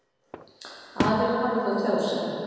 Aðrir hafi þó tjáð sig.